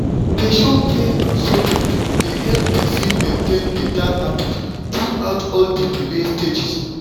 to dey show care and support dey help person maintain better habits throughout all the belle stages.